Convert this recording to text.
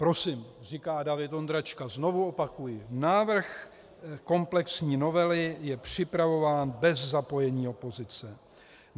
- Prosím, říká David Ondráčka, znovu opakuji: Návrh komplexní novely je připravován bez zapojení opozice.